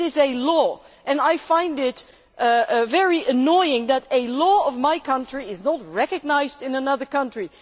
It is a law and I find it very annoying that a law in my country is not recognised in another country.